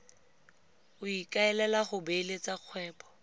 o ikaelang go beeletsa kgwebo